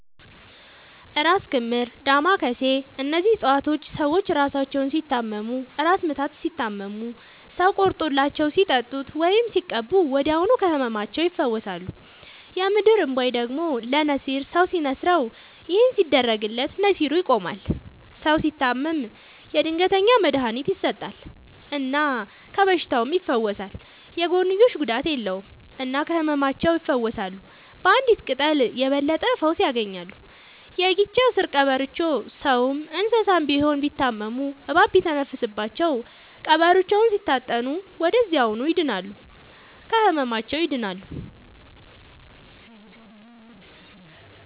እራስ ክምር ዳማ ከሴ እነዚህ ፅፀዋቶች ሰዎች እራሳቸውን ሲታመሙ እራስ ምታት ሲታመሙ ሰው ቆርጦላቸው ሲጠጡት ወይም ሲቀቡ ወዲያውኑ ከህመማቸው ይፈወሳሉ። የምድር እንቧይ ደግሞ ለነሲር ሰው ሲንስረው ይህን ሲያደርግለት ነሲሩ ይቆማል። ሰው ሲታመም የድንገተኛ መድሀኒት ይሰጠል እና ከበሽታውም ይፈወሳል። የጎንዮሽ ጉዳት የለውም እና ከህመማቸው ይፈውሳሉ ባንዲት ቅጠል የበለጠ ፈውስ ያገኛሉ። የጊቻ ስር ቀበሮቾ ሰውም እንሰሳም ቢሆን ቢታመሙ እባብ ሲተነፍስባቸው ቀብሮቾውን ሲታጠኑ ወደዚያውኑ ይድናሉ። ከህመማቸው ይድናሉ…ተጨማሪ ይመልከቱ